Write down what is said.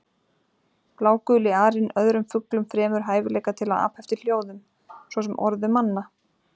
Bláguli arinn öðrum fuglum fremur hæfileika til að apa eftir hljóðum, svo sem orðum manna.